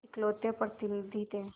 इकलौते प्रतिनिधि थे